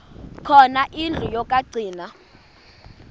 khona indlu yokagcina